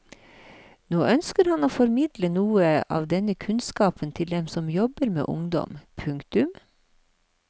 Nå ønsker han å formidle noe av denne kunnskapen til dem som jobber med ungdom. punktum